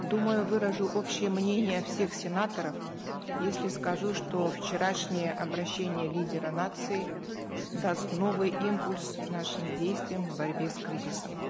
думаю выражу общее мнение всех сенаторов если скажу что вчерашнее обращение лидера нации даст новый импульс нашим действиям в борьбе с кризисом